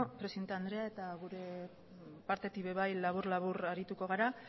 presidente andrea eta gure partetik ere bai labur labur arituko gara